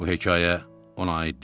Bu hekayə ona aid deyil.